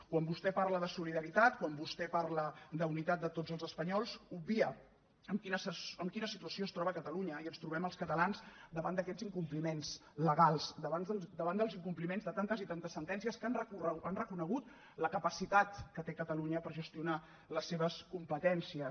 quan vostè parla de solidaritat quan vostè parla d’unitat de tots els espanyols obvia en quina situació es troba catalunya i ens trobem els catalans davant d’aquests incompliments legals davant dels incompliments de tantes i tantes sentències que han reconegut la capacitat que té catalunya per gestionar les seves competències